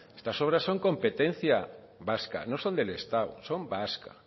estas obras son competencia vasca no son del estado son vascas